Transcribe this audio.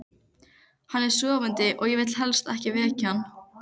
Hann er sofandi og ég vil helst ekki vekja hann.